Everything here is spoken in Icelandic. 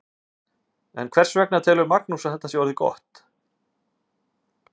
En hvers vegna telur Magnús að þetta sé orðið gott?